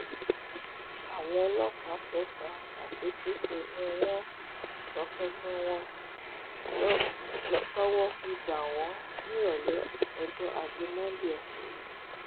àwọn ọlọ́pàá tẹ̀sán satekete ni wọ́n tọpinpin wọn tọwọ́ fi bá wọn nírọ̀lẹ́ ọjọ́ ajé monde ọ̀sẹ̀ yìí